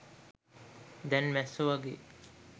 දැන් මැස්සෝ වගේ